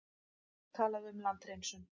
Talaði um landhreinsun.